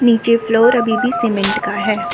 नीचे फ्लोर अभी भी सीमेंट का है।